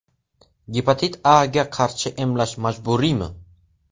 Gepatit A ga qarshi emlash majburiymi?